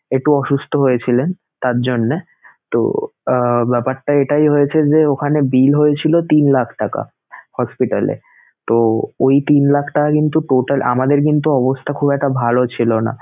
একটু অসুস্থ হয়েছিলেন তার জন্যেতো আহ ব্যাপারটা এটাই হয়েছে যে ওখানে bill হয়েছিলো তিন লাখ টাকা hospital এতো ঐ তিন লাখ টাকা কিন্তু total আমাদের কিন্তু অবস্থা খুব একটা ভালো ছিলোনা